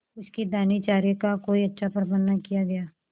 उसके दानेचारे का कोई अच्छा प्रबंध न किया गया